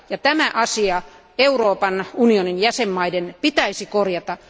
Tämä asia Euroopan unionin jäsenmaiden pitäisi korjata.